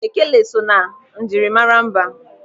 Ekele so na njirimara mba.